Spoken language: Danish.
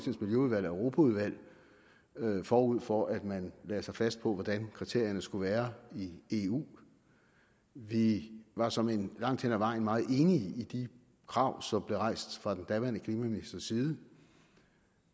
europaudvalget forud for at man lagde sig fast på hvordan kriterierne skulle være i eu vi var såmænd langt hen ad vejen meget enige i de krav som blev rejst fra den daværende klimaministers side